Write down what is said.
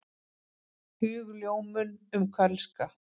Hugljómun um kölska.